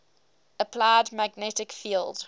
applied magnetic field